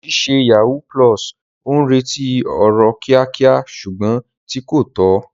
Deji ṣe yahoo +, ó ń retí ọrọ̀ kíákíá ṣùgbọ́n tí kò tọ́.